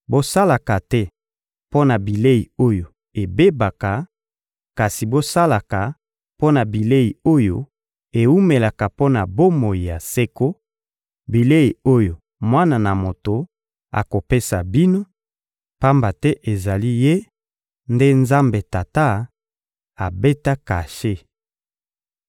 Bosalaka te mpo na bilei oyo ebebaka, kasi bosalaka mpo na bilei oyo ewumelaka mpo na bomoi ya seko, bilei oyo Mwana na Moto akopesa bino; pamba te ezali Ye nde Nzambe Tata abeta kashe.